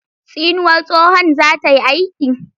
Tsinuwar tsohon za ta yi aiki?